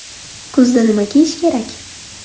Kuzda nima kiyish kerak?